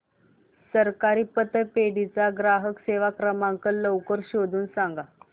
सहकारी पतपेढी चा ग्राहक सेवा क्रमांक लवकर शोधून सांग